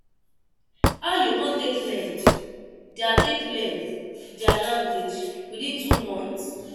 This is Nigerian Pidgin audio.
How you come take learn their take learn their language within two months?